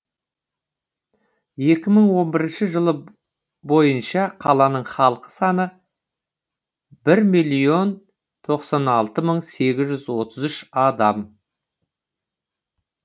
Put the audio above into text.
екі мың он бірінші жыл бойынша қаланың халық саны бір миллион тоқсан алты мың сегіз жүз отыз үш адам